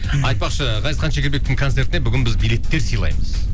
айтпақшы ғазизхан шекербековтің концертіне бүгін біз билеттер сыйлаймыз